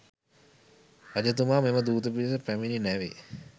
රජතුමා මෙම දූත පිරිස පැමිණි නැවේ